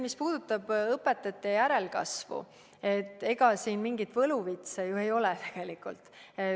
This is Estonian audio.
Mis puudutab õpetajate järelkasvu, siis ega siin mingit võluvitsa ju ei ole tegelikult.